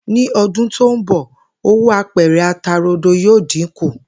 Ní o̩dún tó ń bò̩, owó apè̩rè̩ ata rodo yóò dínkù